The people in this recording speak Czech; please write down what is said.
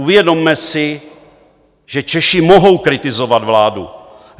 Uvědomme si, že Češi mohou kritizovat vládu.